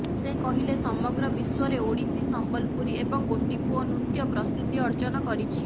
ସେ କହିଲେ ସମଗ୍ର ବିଶ୍ୱରେ ଓଡ଼ିଶୀ ସମ୍ବଲପୁରୀ ଏବଂ ଗୋଟିପୁଅ ନୃତ୍ୟ ପ୍ରସିଦ୍ଧି ଅର୍ଜନ କରିଛି